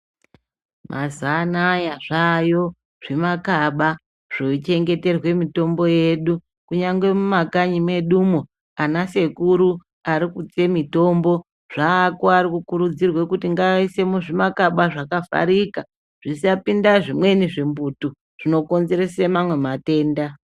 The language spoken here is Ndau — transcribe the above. Mazuva anaya zvaayo zvimakaba zvochengeterwe mitombo yedu kunyangwe mumakanyi mwedu umwo anasekuru ari kuutse mutombo zvaako ari kukurudzirwe kuti ngaise muzvimakaba zvakavharika zvisapinda zvimweni zvimbutu zvinokonzerese mamweni matenda.